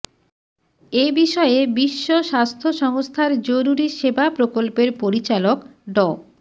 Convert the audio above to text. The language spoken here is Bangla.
এ বিষয়ে বিশ্ব স্বাস্থ্য সংস্থার জরুরি সেবা প্রকল্পের পরিচালক ড